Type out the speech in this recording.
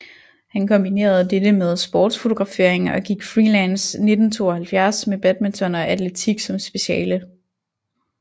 Han kombinerede dette med sportsfotografering og gik freelance 1972 med badminton og atletik som speciale